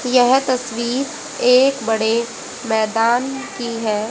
यह तस्वीर एक बड़े मैदान की है।